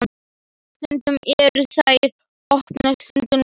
Stundum eru þær opnar, stundum lokaðar.